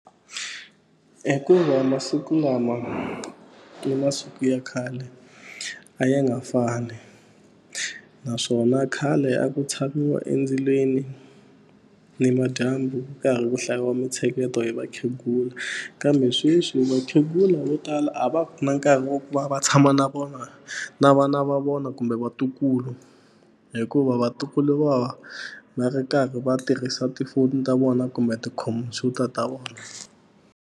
Hikuva masiku lama ni masiku ya khale a ya nga fani naswona khale a ku tshamiwa endzilweni nimadyambu ku karhi ku hlayiwa mintsheketo hi vakhegula kambe sweswi vakhegula vo tala a va na nkarhi wa ku va va tshama na vona na vana va vona kumbe vatukulu hikuva vatukulu va va va ri karhi va tirhisa tifoni ta vona kumbe tikhompyuta ta vona.